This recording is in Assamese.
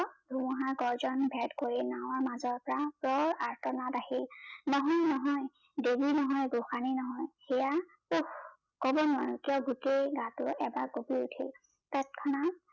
ধুমুহাৰ গৰ্জন ভেদ কৰি নাৱৰ মাজৰ পৰা প্ৰায় আৰ্টনাত আহি, নহয় নহয় দেৱী নহয়, গোসানী নহয় ইয়া উফকব নোৱাৰো কাৰন গোটেই গাটো এবাৰ কপি উঠিল ততখনাত